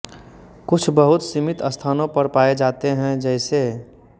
कुछ बहुत सीमित स्थानों पर पाए जाते हैं जैसे